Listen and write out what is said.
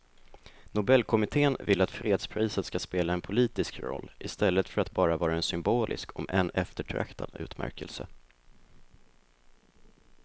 Nobelkommittén vill att fredspriset ska spela en politisk roll i stället för att bara vara en symbolisk om än eftertraktad utmärkelse.